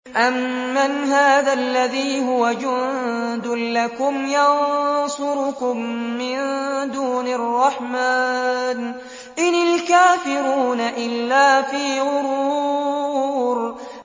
أَمَّنْ هَٰذَا الَّذِي هُوَ جُندٌ لَّكُمْ يَنصُرُكُم مِّن دُونِ الرَّحْمَٰنِ ۚ إِنِ الْكَافِرُونَ إِلَّا فِي غُرُورٍ